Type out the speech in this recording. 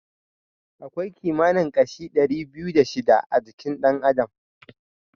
Akwai kimanin kashi ɗari biyu da shida a jikin ɗan adam.